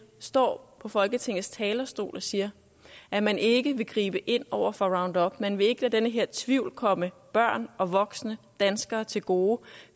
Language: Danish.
står på folketingets talerstol og siger at man ikke vil gribe ind over for roundup at man ikke vil lade den her tvivl komme børn og voksne danskere til gode